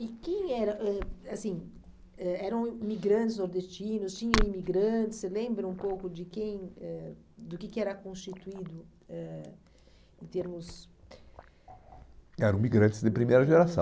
E quem era, eh assim, ãh eram imigrantes nordestinos, tinham imigrantes, você lembra um pouco de quem, eh do que que era constituído eh em termos... Eram imigrantes de primeira geração.